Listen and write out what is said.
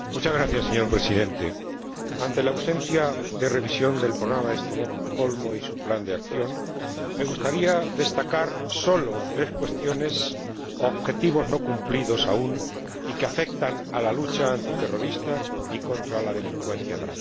Señor Presidente, ante la ausencia de revisión del Programa de Estocolmo y su plan de acción, me gustaría destacar sólo tres cuestiones, objetivos no cumplidos aún, y que afectan a la lucha contra el terrorismo y la delincuencia grave.